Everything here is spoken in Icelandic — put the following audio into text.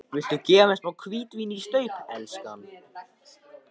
Viltu gefa mér smá hvítvín í staup, elskan?